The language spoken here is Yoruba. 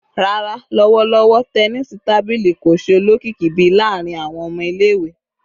Rara, lọwọlọwọ, tẹnisi tabili ko ṣe olokiki bii laarin awọn ọmọ ile-iwe